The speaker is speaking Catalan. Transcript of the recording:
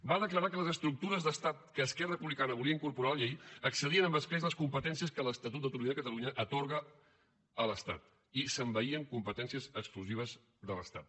va declarar que les estructures d’estat que esquerra republicana volia incorporar en la llei excedien amb escreix les competències que l’estatut d’autonomia de catalunya atorga a l’estat i s’envaïen competències exclusives de l’estat